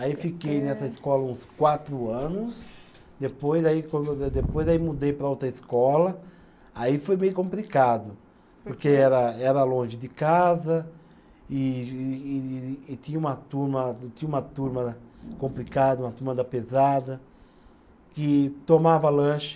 Aí fiquei nessa escola uns quatro anos, depois aí depois aí mudei para outra escola aí foi meio complicado porque era era longe de casa e e e e e tinha uma turma, e tinha uma turma da complicada uma turma da pesada que tomava lanche